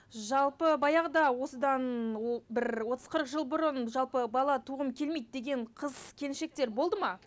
жалпы баяғыда осыдан бір отыз қырық жыл бұрын жалпы бала туғым келмейді деген қыз келіншектер болды ма